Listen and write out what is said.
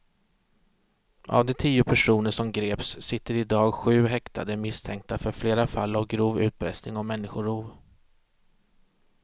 Av de tio personer som greps sitter i dag sju häktade misstänkta för flera fall av grov utpressning och människorov.